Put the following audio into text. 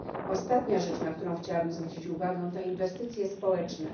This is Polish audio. Ostatnia rzecz, na którą chciałabym zwrócić uwagę, to inwestycje społeczne.